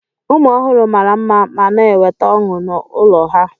Ụmụ ọhụrụ mara mma ma na-eweta ọṅụ n'ụlọ ha.